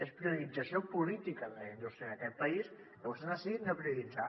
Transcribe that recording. és priorització política de la indústria en aquest país i vostès han decidit no prioritzar